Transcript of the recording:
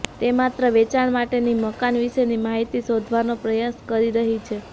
તે માત્ર વેચાણ માટેની મકાન વિશેની માહિતી શોધવાનો પ્રયાસ કરી રહી છે